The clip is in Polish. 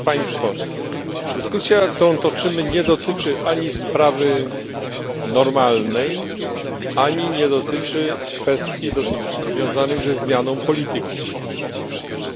Pani Przewodnicząca! Panie Komisarzu! Szanowni Państwo! Dyskusja, którą toczymy, nie dotyczy ani sprawy normalnej ani nie dotyczy kwestii związanych ze zmianą polityki.